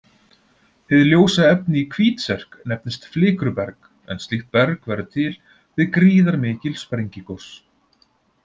Hið ljósa efni í Hvítserk nefnist flikruberg en slíkt berg verður til við gríðarmikil sprengigos.